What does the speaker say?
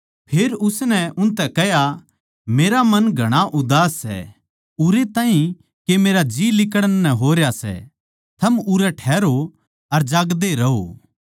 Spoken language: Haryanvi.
फेर उसनै उनतै कह्या मेरा मन घणा उदास सै उरै ताहीं के मेरा जीं लिकड़ण नै होरया सै थम उरै ठहरो अर जागदे रहो